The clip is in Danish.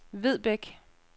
Vedbæk